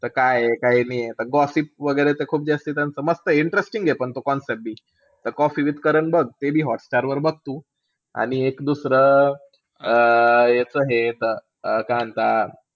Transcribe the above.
त काये, काय नाहीये gossip वैगरे त खूप जास्ती मस्तय त्यांचं interesting आहे. पण तो concept बी. त कॉफी विथ कारण बघ ते बी हॉटस्टारवर बघ तू. आणि एक दुसरं अं याचं हे येतं काय म्हणता,